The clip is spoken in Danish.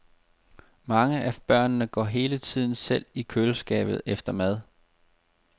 Mange af børnene går hele tiden selv i køleskabet efter mad.